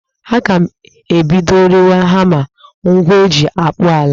Aga m ebido rewe hama, ngwa eji akpụ ọla